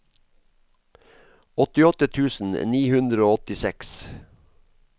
åttiåtte tusen ni hundre og åttiseks